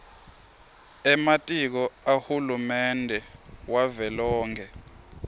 ematiko ahulumende wavelonkhe